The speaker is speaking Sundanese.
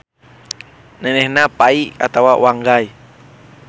Nenehna Pai atawa Wanggai.